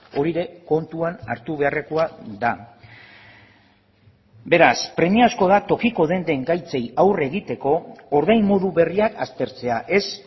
hori ere kontuan hartu beharrekoa da beraz premiazko da tokiko denden gaitzei aurre egiteko ordain modu berriak aztertzea ez